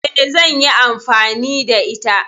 Eh, zanyi amfani da ita